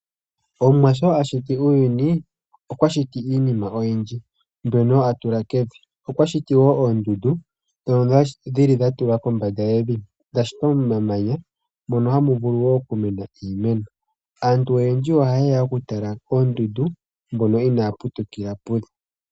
Omuwa sho ashiti uuyuni okwashiti iinima oyindji mbyono atula kevi. Okwashiti woo oondundu ndhono dhili dhatulwa kombanda yevi, dhashitwa momamanya mono hamu vulu woo okumena iimeno. Aantu oyendji oha yeya okutala oondundu mbono inaya putukila pudho.